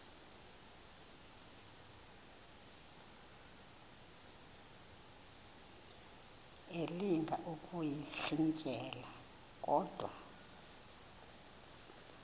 elinga ukuyirintyela kodwa